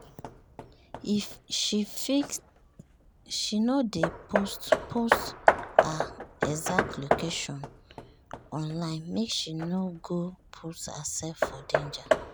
she no dey post post her exact location um online make she no go put herself for danger.